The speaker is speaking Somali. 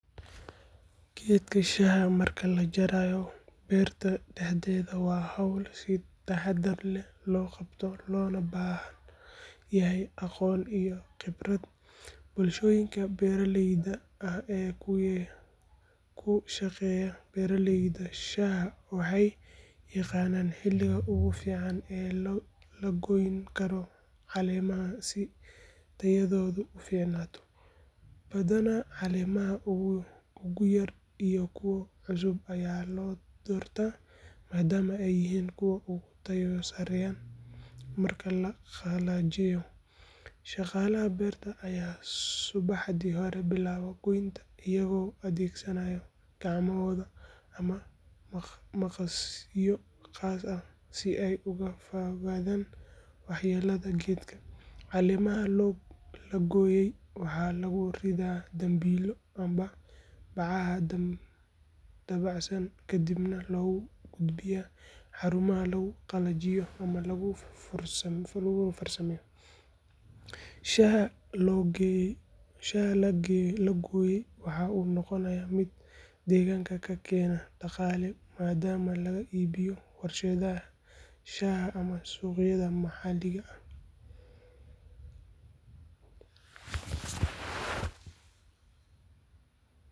Geedka shaaha marka la jarayo beerta dhexdeeda waa hawl si taxaddar leh loo qabto loona baahan yahay aqoon iyo khibrad. Bulshooyinka beeraleyda ah ee ku shaqeeya beeraleyda shaaha waxay yaqaanaan xilliga ugu fiican ee la goyn karo caleemaha si tayadoodu u fiicnaato. Badanaa caleemaha ugu yar iyo kuwa cusub ayaa la doortaa maadaama ay yihiin kuwa ugu tayo sarreeya marka la qalajiyo. Shaqaalaha beerta ayaa subaxdii hore bilaaba goynta, iyagoo adeegsanaya gacmohooda ama maqasyo khaas ah si ay uga fogaadaan waxyeellada geedka. Caleemaha la gooyey waxaa lagu ridaa dambiilo ama bacaha dabacsan kadibna loo gudbiyaa xarumaha lagu qalajiyo ama lagu farsameeyo. Shaaha la gooyey waxa uu noqonayaa mid deegaanka ka keena dhaqaale maadaama laga iibiyo warshadaha shaaha ama suuqyada maxalliga ah.